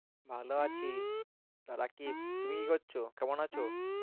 ভালো আছি তো রাকিব তুমি কি করছ? কেমন আছো?